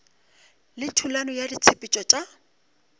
le thulano ya ditshepetšo tša